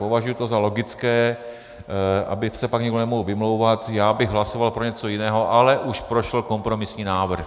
Považuji to za logické, aby se pak někdo nemohl vymlouvat: Já bych hlasoval pro něco jiného, ale už prošel kompromisní návrh.